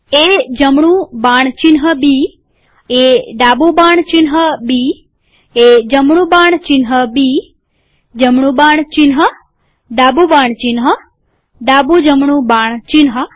એ જમણું બાણ ચિહ્ન બી એ ડાબું બાણ ચિહ્ન બી એ જમણું બાણ ચિહ્ન બી જમણું બાણ ચિહ્ન ડાબું બાણ ચિહ્ન ડાબું જમણું બાણ ચિહ્ન